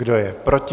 Kdo je proti?